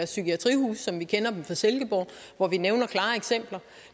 psykiatrihuse som vi kender dem fra silkeborg hvor vi nævner klare eksempler